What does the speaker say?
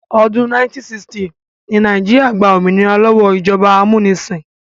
Ọdún 1960 ni Nàìjíríà gba òmìnira lọ́wọ́ ìjọba amúnisìn